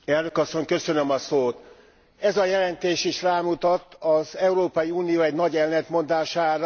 Ez a jelentés is rámutat az Európai Unió egy nagy ellentmondására, de megoldani nem tudja.